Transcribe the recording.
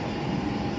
Çox sağ ol.